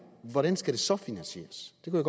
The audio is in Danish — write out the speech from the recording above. hvordan skal det så finansieres det kunne